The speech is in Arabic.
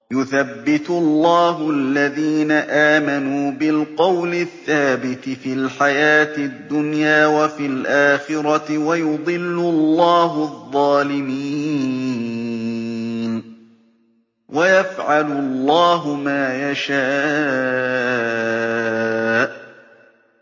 يُثَبِّتُ اللَّهُ الَّذِينَ آمَنُوا بِالْقَوْلِ الثَّابِتِ فِي الْحَيَاةِ الدُّنْيَا وَفِي الْآخِرَةِ ۖ وَيُضِلُّ اللَّهُ الظَّالِمِينَ ۚ وَيَفْعَلُ اللَّهُ مَا يَشَاءُ